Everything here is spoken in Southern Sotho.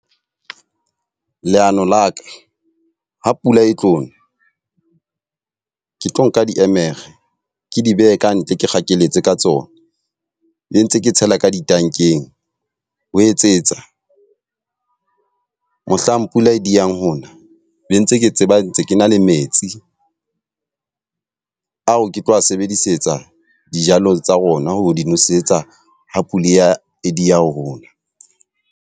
Leano la ka, ha pula e tlo na ke tlo nka diemere ke di behe ka ntle, ke kgakelletse ka tsona le ntse ke tshela ka ditankeng. Ho etsetsa mohlang pula e di yang hona be ntse ke tseba ntse ke na le metsi ao ke tlo a sebedisetsa dijalo tsa rona ho di nosetsa ha pula e ya e dieha ho na.